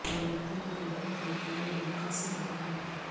دولت کی ایک بہت التائی علاقہ سے بھرا ہے